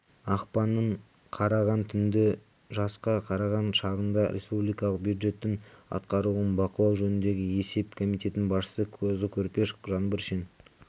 ақпанның қараған түні жасқа қараған шағында республикалық бюджеттің атқарылуын бақылау жөніндегі есеп комитетінің басшысы қозыкөрпеш жаңбыршин